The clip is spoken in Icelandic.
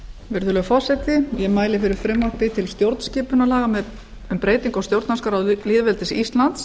virðulegur forseti ég mæli fyrir frumvarpi til stjórnskipunarlaga um breyting á stjórnarskrá lýðveldisins íslands